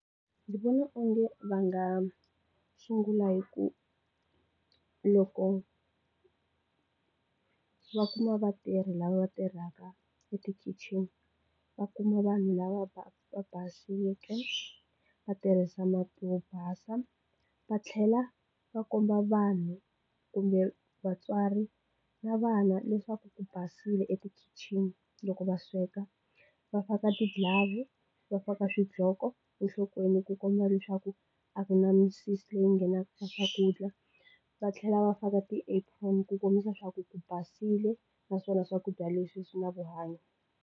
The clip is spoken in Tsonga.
Ndzi vona onge va nga sungula hi ku loko va kuma vatirhi lava tirhaka etikitchen va kuma vanhu lava va baseke va tirhisa mati yo basa va tlhela va komba vanhu kumbe vatswari na vana leswaku ku basile etikhichini loko va sweka va faka tiglove, va faka xiqhoko enhlokweni ku komba leswaku a ku na misisi yi nghenaka leyi ka swakudya, va tlhela va faka ti apron ku kombisa swa ku ku basile naswona swakudya leswi na vuhanyo.